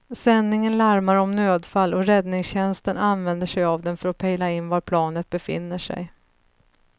Sändningen larmar om nödfall och räddningstjänsten använder sig av den för att pejla in var planet befinner sig.